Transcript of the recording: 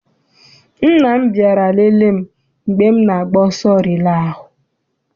Nna m bịara lele m mgbe m na-agba ọsọ rilee ahụ.